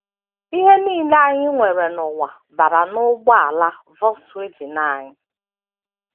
Ihe nile anyị nwere n’ụwa bara n’ụgbọala Volkswagen anyị